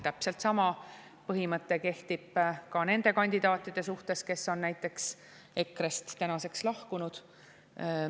Täpselt sama põhimõte kehtib ka nende kandidaatide puhul, kes on näiteks EKRE‑st tänaseks lahkunud.